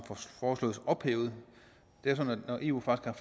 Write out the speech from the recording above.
foreslås ophævet det er sådan at eu faktisk